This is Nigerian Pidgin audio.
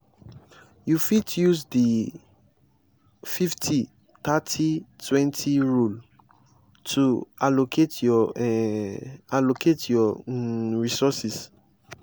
you fit use di 50/30/20 rule to allocate your um allocate your um resources.